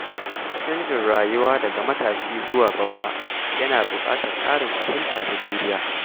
Canjin rayuwa daga matashi zuwa babba yana buƙatar ƙarin fahimta da juriya.